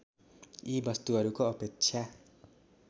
यी वस्तुहरूको अपेक्षा